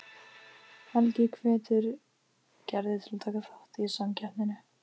Helgi hvetur Gerði til að taka þátt í samkeppninni.